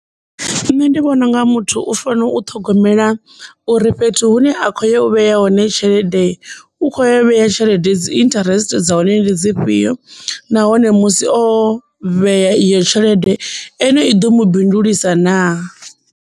Nṋe ndi vhona unga muthu u fanela u ṱhogomela uri fhethu hune a khou yo vheya hone tshelede u kho yo vhea tshelede dzi interest dza hone ndi dzi fhio nahone musi o vhea iyo tshelede eyo i ḓo mu bindulusa na.